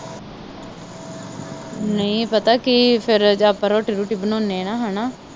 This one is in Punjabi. ਨਹੀਂ ਪਤਾ ਕੀ ਫਿਰ ਆਪਾ ਰੋਟੀ ਰੂਟੀ ਬਣਾਉਣੇ ਆ ਨਾ ਹੇਨਾ।